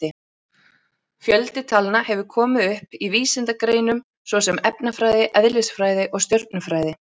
Fjöldi talna hefur komið upp í vísindagreinum svo sem efnafræði, eðlisfræði og stjörnufræði.